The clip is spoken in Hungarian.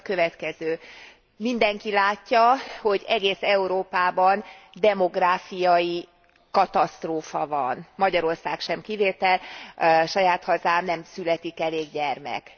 Ez pedig a következő mindenki látja, hogy egész Európában demográfiai katasztrófa van. Magyarország sem kivétel, saját hazámban sem születik elég gyermek.